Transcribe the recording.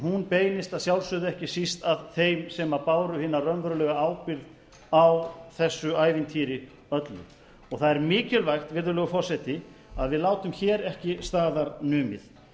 einn beinist að sjálfsögðu ekki síst að þeim sem báru hina raunverulegu ábyrgð á þessu ævintýri öllu og það er mikilvægt virðulegur forseti að við látum hér ekki staðar numið